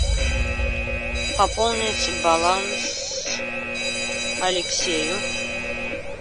пополнить баланс алексею